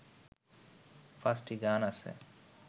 পাঁচটি গান আছে